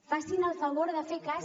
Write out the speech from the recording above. facin el favor de fer cas